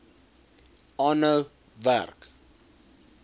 aanhou werk